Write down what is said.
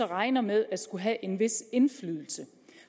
regner med at skulle have en vis indflydelse